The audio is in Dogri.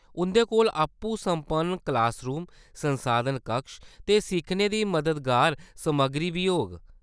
उंʼदे कोल आपूं सम्पन्न क्लास रूम, संसाधन कक्ष ते सिक्खने दी मददगार समग्गरी बी होग।